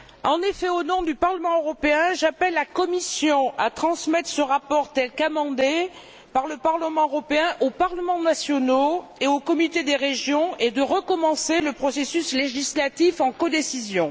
En effet, au nom du Parlement européen, j'appelle la Commission à transmettre ce rapport tel qu'amendé par le Parlement européen aux parlements nationaux et au Comité des régions et à recommencer le processus législatif en codécision.